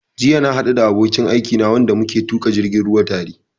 Jiya na haɗu da abokin aikina wanda muke tuƙa jirgin ruwa tare